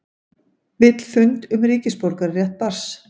Vill fund um ríkisborgararétt barns